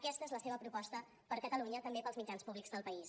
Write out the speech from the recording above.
aquesta és la seva proposta per a catalunya també per als mitjans públics del país